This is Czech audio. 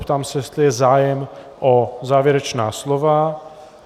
Ptám se, jestli je zájem o závěrečná slova.